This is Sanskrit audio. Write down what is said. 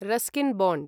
Ruskin bond